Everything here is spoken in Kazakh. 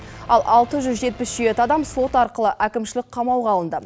ал алты жүз жетпіс жеті адам сот арқылы әкімшілік қамауға алынды